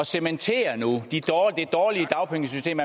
cementere nu det dårlige dagpengesystem